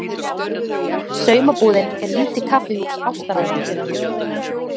Saumabúðin er lítið kaffihús ástarævintýranna.